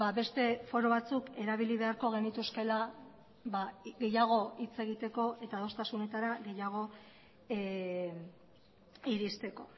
beste foro batzuk erabili beharko genituzkeela gehiago hitz egiteko eta adostasunetara gehiago iristeko